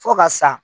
Fo ka sa